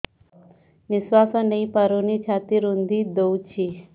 ନିଶ୍ୱାସ ନେଇପାରୁନି ଛାତି ରୁନ୍ଧି ଦଉଛି